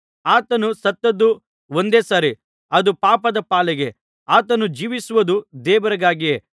ಆತನು ಸತ್ತದ್ದು ಒಂದೇ ಸಾರಿ ಅದು ಪಾಪದ ಪಾಲಿಗೆ ಆತನು ಜೀವಿಸುವುದು ದೇವರಿಗಾಗಿಯೇ